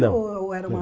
Não. Ou ou era uma